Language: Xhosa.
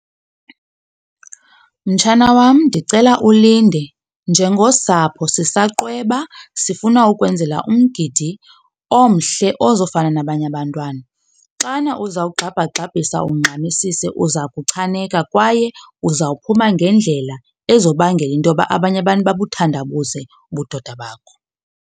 Mtshana wam, ndicela ulinde. Njengosapho sisa qweba sifuna ukwenzela umgidi omhle ozofana nabanye abantwana. Xana uzawugxabhagxabhisa ungxamisise, uza kuchaneka kwaye uzawuphuma ngendlela ezobangela into yoba abanye abantu babuthandabuze ubudoda bakho.